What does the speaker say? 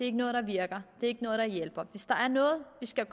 er noget der virker at noget der hjælper hvis der er noget vi skal